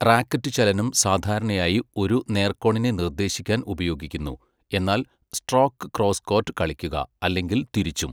Racket ചലനം സാധാരണയായി ഒരു നേർകോണിനെ നിർദ്ദേശിക്കാൻ ഉപയോഗിക്കുന്നു, എന്നാൽ സ്ട്രോക്ക് ക്രോസ്കോർട്ട് കളിക്കുക, അല്ലെങ്കിൽ തിരിച്ചും.